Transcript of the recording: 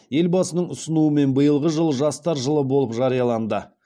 елбасының ұсынуымен биылғы жыл жастар жылы болып жарияланды